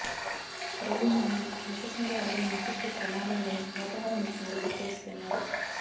కరోలినాను ఆకస్మిక వరదలు ముంచెత్తే ప్రమాదం ఉందని వాతావరణ నిపుణులు హెచ్చరిస్తున్నారు